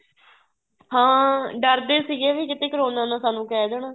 ਹਾਂ ਡਰਦੇ ਸੀਗੇ ਵੀ ਕੀਤੇ ਕਰੋਨਾ ਨਾ ਸਾਨੂੰ ਕਹਿ ਦੇਣ